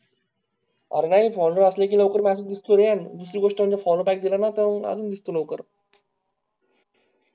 अरे नाई follow असले कि लवकर madam दिसती रे, दुसरी गोष्ट follow tag दिला ना तर आजून दिसतं लवकर